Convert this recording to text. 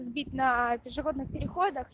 сбит на пешеходных переходах